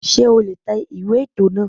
Sé o lè tẹ ìwé ètò náà